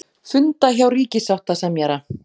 Funda hjá ríkissáttasemjara